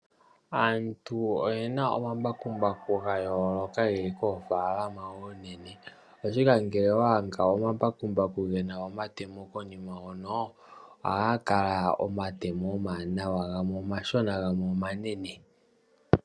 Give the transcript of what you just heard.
Aantu oyena omambakumbaku gayooloka geli koofaalama oonene oshoka, ngele waadha omambakumbaku gena omatemo konima hono, ohaga kala omatemo omawanawa gamwe omashona gamwe omanene.